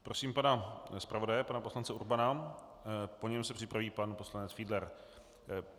Prosím pana zpravodaje pana poslance Urbana, po něm se připraví pan poslanec Fiedler.